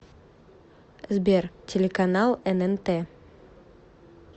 сбер телеканал эн эн тэ